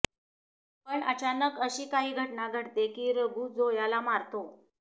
पण अचानक अशी काही घटना घडते की रघु झोयाला मारतो